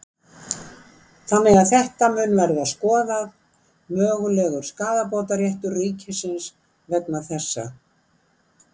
Þannig að þetta mun verða skoðað, mögulegur skaðabótaréttur ríkisins vegna þessa?